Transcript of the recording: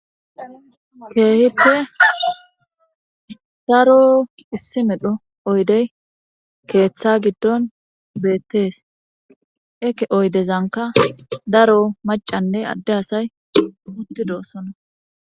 keehippe daro issi medho oydey keeththa giddon bettees eke oydezanka daro macanne adde asay uttidoossonna